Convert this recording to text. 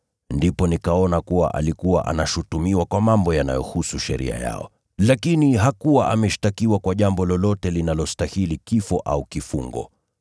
Ndipo nikaona kuwa alikuwa anashutumiwa kwa mambo yanayohusu sheria yao, lakini hakuwa ameshtakiwa kwa jambo lolote linalostahili kifo au kifungo.